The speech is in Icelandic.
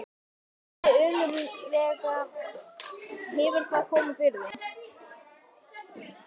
Hann spurði önuglega: Hefur það komið fyrir þig?